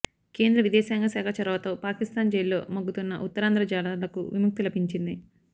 కేంద్ర విదేశాంగ శాఖ చొరవతో పాకిస్తాన్ జైల్లో మగ్గుతున్న ఉత్తరాంధ్ర జాలర్లకు విముక్తి లభించింది